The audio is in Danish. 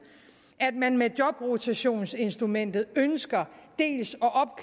at man med jobrotationsinstrumentet ønsker